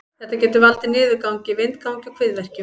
Þetta getur valdið niðurgangi, vindgangi og kviðverkjum.